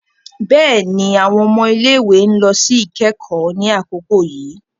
Béèni, awọn ọmọ ile-iwe n lọ si ikẹkọ ni akoko yii